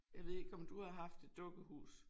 Jeg ved ikke om du har haft et dukkehus